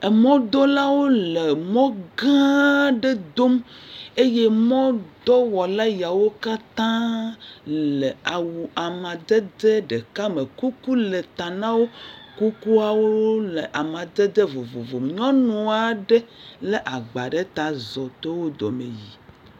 Emɔdolawo le mɔ gã aɖe dom eye mɔdɔwɔla yawo katã le awu amadede ɖeka me, kuku le ta na wo, kukuawo le amadede vovovo, nyɔnu aɖe lé agba ɖe ta zɔ to wo dome yi.